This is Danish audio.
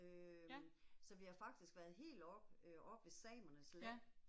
Øh, så vi har faktisk været helt oppe, øh oppe med samernes land